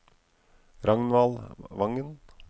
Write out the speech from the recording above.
Ragnvald Vangen